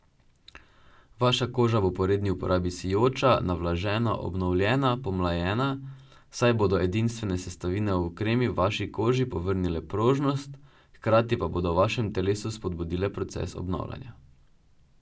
Vaša koža bo po redni uporabi sijoča, navlažena, obnovljena, pomlajena, saj bodo edinstvene sestavine v kremi vaši koži povrnile prožnost hkrati bodo pa v vašem telesu spodbudile proces obnavljanja.